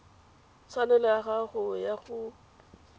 tshwanelo ya gago ya go